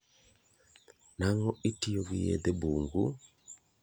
Nang'o itiyo gi yedhe bungu?